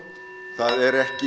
það er ekki